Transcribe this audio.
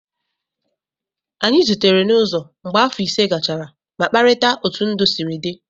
Anyị zutere n'ụzọ mgbe afọ ise gachara ma kparịta otú ndụ sịrị dị